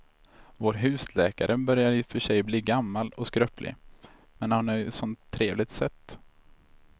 Vår husläkare börjar i och för sig bli gammal och skröplig, men han har ju ett sådant trevligt sätt!